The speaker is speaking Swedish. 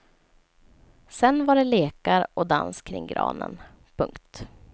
Sen var det lekar och dans kring granen. punkt